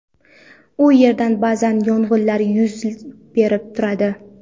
U yerda ba’zan yong‘inlar yuz berib turadi.